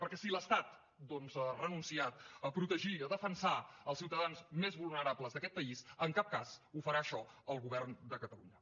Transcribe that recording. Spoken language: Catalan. perquè si l’estat doncs ha renunciat a protegir a defensar els ciutadans més vulnerables d’aquest país en cap cas ho farà això el govern de catalunya